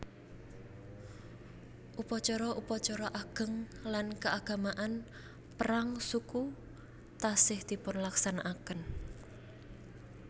Upacara upacara ageng lan keagamaan perang suku taksih dipunlaksanakaken